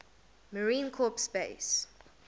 marine corps base